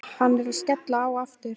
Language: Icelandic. Hann var að skella á aftur.